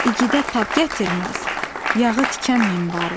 İgidə tab gətirməz, yağı tikan minbarı.